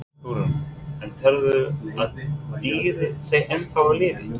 Hugrún: En telurðu að dýrið sé ennþá á lífi?